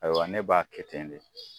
Ayiwa ne b'a kɛ ten de